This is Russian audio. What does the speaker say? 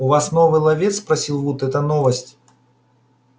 у вас новый ловец спросил вуд это новость